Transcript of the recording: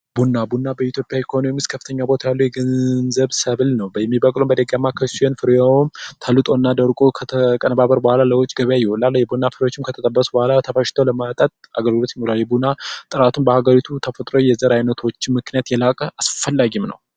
ቡና ቡና በኢትዮጵያ ኢኮኖሚ ከፍተኛ ቦታ ያለው የገንዘብ ሰብል ነው። በእኔ በኩል በደካማ ፍሬው ተልጦ እና ደቆ ከተቀነባበረ በኋላ ለውጭ ገበያ ይሆናል። የቡና ፍሬዎችም ተፈጭተው ለመጠጥ አገልግሎት ይውላል። የቡና ጥራትን በአገሪቱ የተፈጠረው የዘር ዓይነቶች ምክንያት የላቀ አስፈላጊም ነው።